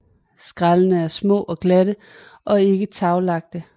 Skællene er små og glatte og ikke taglagte